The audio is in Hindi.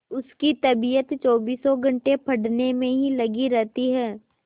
उसकी तबीयत चौबीसों घंटे पढ़ने में ही लगी रहती है